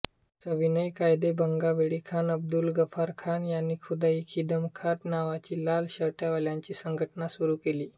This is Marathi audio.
सविनय कायदेभंगावेळी खान अब्दुल गफारखान यांनी खुदाई खिदमतगार नावाची लाल शर्टवाल्यांची संघटना सुरू केली